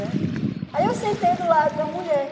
Né aí eu sentei do lado da mulher.